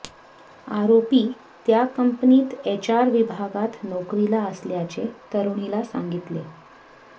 आरोपी त्या कंपनीत एचआर विभागात नोकरीला असल्याचे तरुणीला सांगितले